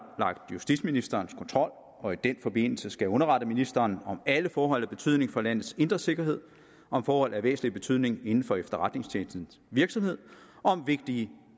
justitsministerens kontrol og i den forbindelse skal underrette ministeren om alle forhold af betydning for landets indre sikkerhed om forhold af væsentlig betydning inden for efterretningstjenestens virksomhed og om vigtige